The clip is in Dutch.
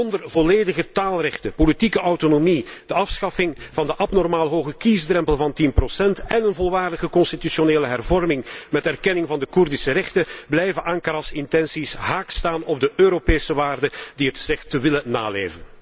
Zonder volledige taalrechten, politieke autonomie, de afschaffing van de abnormaal hoge kiesdrempel van 10 en een volwaardige constitutionele hervorming met erkenning van de Koerdische rechten, blijven Ankara's intenties haaks staan op de Europese waarden die het zegt te willen naleven.